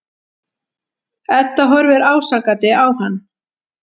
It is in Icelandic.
Edda horfir ásakandi á hann.